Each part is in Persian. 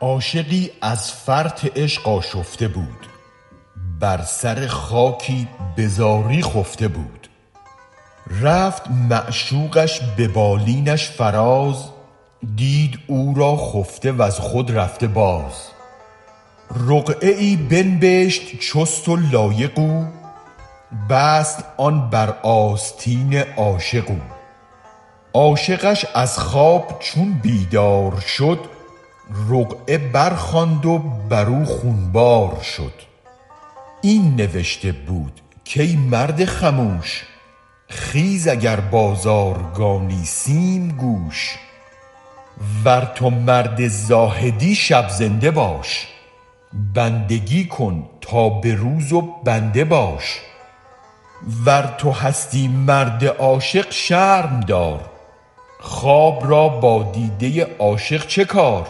عاشقی از فرط عشق آشفته بود بر سر خاکی بزاری خفته بود رفت معشوقش به بالینش فراز دید او را خفته وز خود رفته باز رقعه ای بنبشت چست و لایق او بست آن بر آستین عاشق او عاشقش از خواب چون بیدار شد رقعه برخواند و برو خون بار شد این نوشته بود کای مرد خموش خیز اگر بازارگانی سیم کوش ور تو مرد زاهدی شب زنده باش بندگی کن تا به روز و بنده باش ور تو هستی مرد عاشق شرم دار خواب را با دیده عاشق چه کار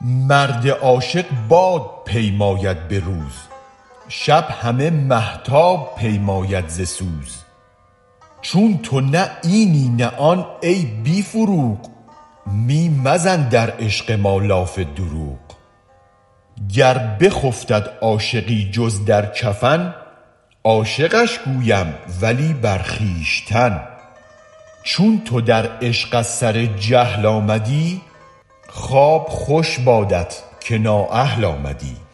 مرد عاشق باد پیماید به روز شب همه مهتاب پیماید ز سوز چون تو نه اینی نه آن ای بی فروغ می مزن در عشق ما لاف دروغ گر بخفتد عاشقی جز در کفن عاشقش گویم ولی بر خویشتن چون تو در عشق از سر جهل آمدی خواب خوش بادت که نااهل آمدی